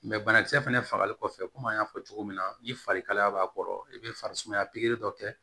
banakisɛ fɛnɛ fagali kɔfɛ komi an y'a fɔ cogo min na ni fari kalaya b'a kɔrɔ i bɛ farisumaya pikiri dɔ kɛ